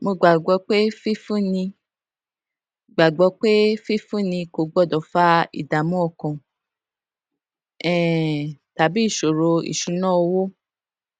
mo gbàgbó pé fífúnni gbàgbó pé fífúnni kò gbódò fa ìdààmú ọkàn um tàbí ìṣòro ìṣúnná owó